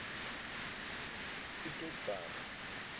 piketberg